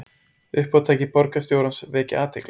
Uppátæki borgarstjórans vekja athygli